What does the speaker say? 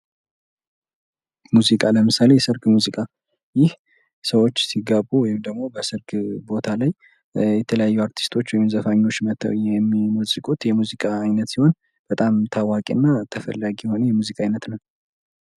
ሙዚቃ ለምሳሌ የሰርግ ሙዚቃ ሰዎች ሲጋቡ ይደመጣል የተለያዩ አርቲስቶች ወይም ዘፋኞች መጥተው የሚጫወቱት ሲሆን በጣም ታዋቂና ተፈላጊ የሙዚቃ አይነት ነው።